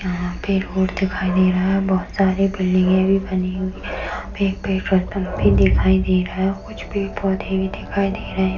यहाँ पे रोड दिखाई दे रहा है बहुत सारे बिल्डींगे भी बनी हुए है | यहाँ पे पेट्रोल पंप भी दिखाई दे रहा है कुछ पेड़ पौधे भी दिखाई दे रहे हैं |